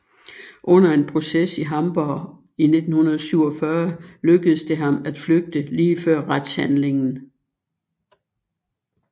Under en proces i Hamborg i 1947 lykkedes det ham at flygte lige før retshandlingen